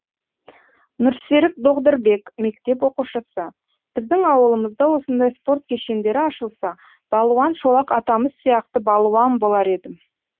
нұрсерік доғдырбек мектеп оқушысы біздің ауылымызда осындай спорт кешендері ашылса балуан шолақ атамыз сияқты балуан болар едім